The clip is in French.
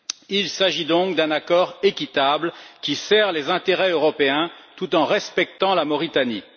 Il s'agit donc d'un accord équitable qui sert les intérêts européens, tout en respectant la Mauritanie.